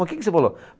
O que que você falou?